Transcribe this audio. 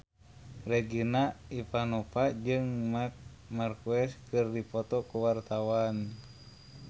Regina Ivanova jeung Marc Marquez keur dipoto ku wartawan